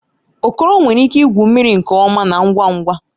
Okoro nwere ike igwu mmiri nke ọma na ngwa ngwa